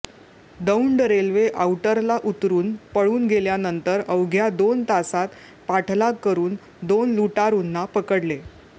Daund railway आउटरला उतरून पळून गेल्यानंतर अवघ्या दोन तासांत पाठलाग करून दोन लुटारूंना पकडले